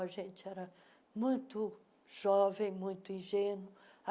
A gente era muito jovem, muito ingênuo.